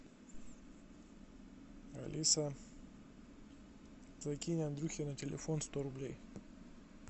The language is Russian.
алиса закинь андрюхе на телефон сто рублей